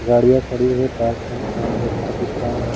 गाड़िया खड़ी है पार्क है यहाँ बच्चे दिख रहा है